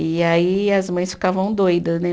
E aí as mães ficavam doida, né?